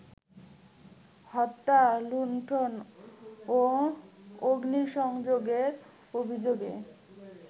হত্যা, লুন্ঠন ও অগ্নিসংযোগের অভিযোগে